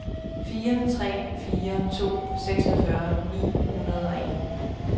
fire tre fire to seksogfyrre ni hundrede og en